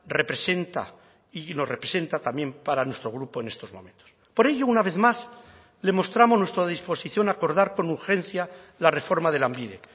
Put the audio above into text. representa y nos representa también para nuestro grupo en estos momentos por ello una vez más le mostramos nuestra disposición a acordar con urgencia la reforma de lanbide